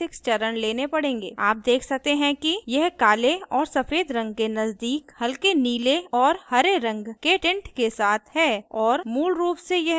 आप देख सकते हैं कि यह काले और सफ़ेद के नजदीक हल्के नीले और हरे रंग के tint के साथ है और मूल रूप से यह सिर्फ gray है